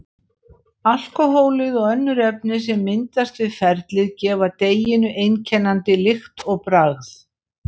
Alkóhólið og önnur efni sem myndast við ferlið gefa deiginu einkennandi lykt og bragð.